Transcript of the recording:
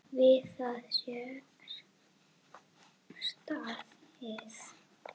Við það sé staðið.